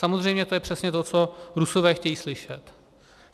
Samozřejmě to je přesně to, co Rusové chtějí slyšet.